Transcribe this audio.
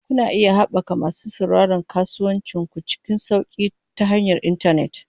Kuna iya haɓaka masu sauraron kasuwancin ku cikin sauƙi ta hanyar intanet.